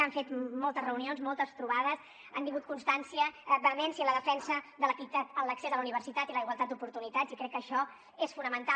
han fet moltes reunions moltes trobades han tingut constància vehemència en la defensa de l’equitat en l’accés a la universitat i la igualtat d’oportunitats i crec que això és fonamental